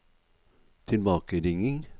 tilbakeringing